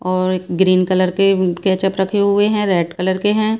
और green colour के ketchup रखे हुवे हैं और रेड कलर के हैं।